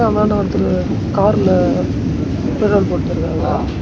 அந்தாண்ட ஒருத்தரு கார்ல பெட்ரோல் போட்டிருக்காங்க.